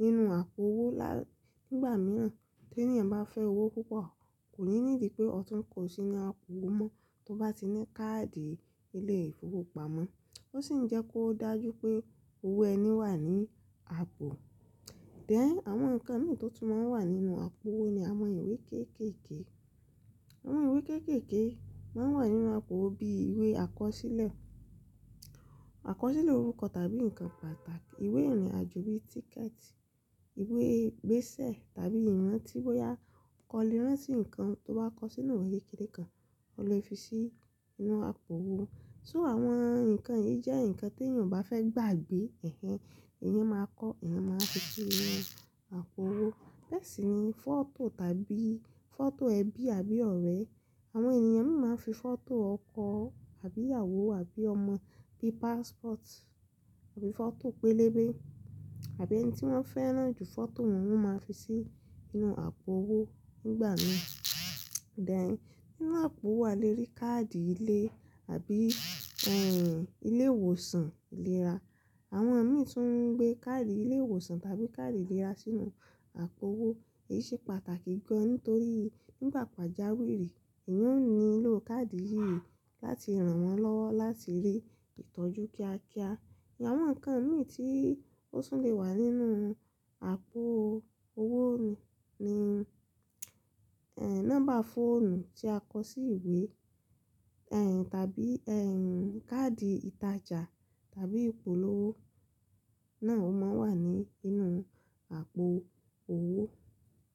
nínú àpò owó lál-- nígbà mìíràn tí ènìyàn bá fẹ́ owó púpọ̀, kò ní nídí pé ọtún kò sí ní àpò owó mọ́ tó bá ti ní káàdì ilé ìfowópamọ́. Ó sì ń jẹ́ kó dájú pé owó ẹni wà ní àpò. Then, àwọn nǹkan mìí tó tún máa ń wà nínú àpò owó ni àwọn ìwé kéékèèké. Àwọn ìwé kéékèèké máa ń wà nínú àpò owó bíi ìwé àkọsílẹ̀, àkọsílẹ̀ orúkọ tàbí nǹkan pàtàkì, ìwé ìrìnàjò bíi tíkẹ̀tì, ìwé igbẹ́sẹ̀ tàbí ìrántí bóyá o kọ́ lè ránti nǹkan tó bá kọ sí inú ìwé kékeré kan, o lè fi sí inú àpò owó. So àwọn nǹkan yìí jẹ́ nǹkan tí èyàn o bá fẹ́ gbàgbé, èhn ehn, èyan máa kọ́, èyan máa fi sí inú àpò owó. Bẹ́ẹ̀ sì ni fọ́tò tàbí fọ́tò ẹbí àbí ọ̀rẹ́. Àwọn ènìyàn mìi máa ń fi fọ́tò ọkọ àbí ìyàwó àbí ọmọ bíi passport àbí fọ́tò pélébé àbí ẹni tí wọ́n fẹ́ràn jù fọ́tò wọn, wọ́n máa fi sí inú àpò owó nígbà mi. Then, nínú àpò owó a lè rí káàdì ilé àbí, ẹ́ n, ilé ìwòsàn ìlera. Àwọn mìí tún ń gbé káàdì ilé ìwòsàn tàbí káàdì ìlera sínú àpò owó. Èyí ṣe pàtàkì gan nítorí nígbà pàjáwìrì èyan ó nílò káàdì yìí láti ràn wọn lọ́wọ́ láti rí ìtọ́jú kíákíá. Àwọn nǹkan mìí tí ó tun lè wà nínú àpò owó ní ni, ẹ́ n, nọ́mbà fóònù tí a kọ sí ìwé, ẹ́ n, tàbí, ẹ́ n, káàdì ìtajà tàbí ìpolówó náà o máa ń wà ní inú àpò owó.